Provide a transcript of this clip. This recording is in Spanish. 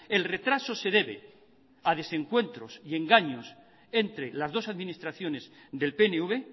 el retraso se debe a desencuentros y engaños entre las dos administraciones del pnv